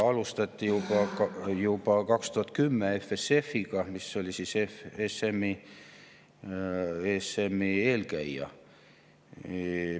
Alustati juba 2010 EFSF‑iga, mis oli ESM‑i eelkäija.